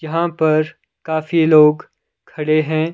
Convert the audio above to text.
यहां पर काफी लोग खड़े हैं।